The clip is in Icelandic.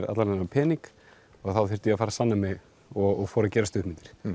allan þennan pening og þá þurfti ég að fara að sanna mig og fór að gera stuttmyndir